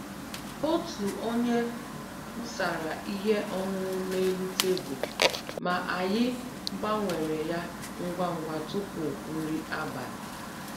Otu onye wụsara ihe ọṅụṅụ n'elu tebụl, ma anyị gbanwere ya ngwa ngwa tupu nri abalị